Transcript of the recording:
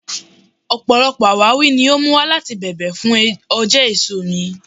Ọpọlọpọ awawi ni o mu wa lati bẹ̀bẹ̀ fun òjé èso mi